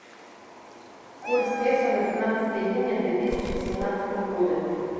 курс песо на пятнадцатое июня две тысячи восемнадцатого года